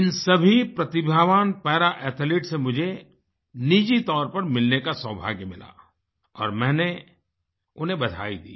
इन सभी प्रतिभावान पारा Athletesसे मुझे निजी तौर पर मिलने का सौभाग्य मिला और मैंने उन्हें बधाई दी